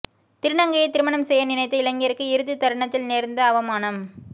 திருநங்கையை திருமணம் செய்ய நினைத்த இளைஞருக்கு இறுதி தருணத்தில் நேர்ந்த அவமானம்